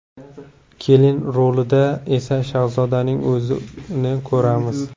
Kelin rolida esa Shahzodaning o‘zini ko‘ramiz.